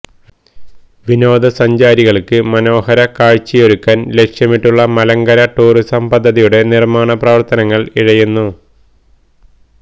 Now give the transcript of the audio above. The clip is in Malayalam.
വിനോദസഞ്ചാരികൾക്ക് മനോഹര കാഴ്ചയൊരുക്കാൻ ലക്ഷ്യമിട്ടുള്ള മലങ്കര ടൂറിസം പദ്ധതിയുടെ നിർമ്മാണപ്രവർത്തനങ്ങൾ ഇഴയുന്നു